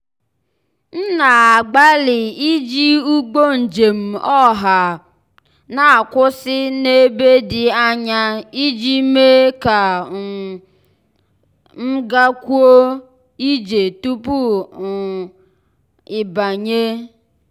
m na-agbalị iji ụgbọ njem ọha na-akwụsị n'ebe dị anya ij mee ka um m gakwuo ije tupu um ịbanye.